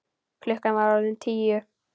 Klukkan var orðin tíu.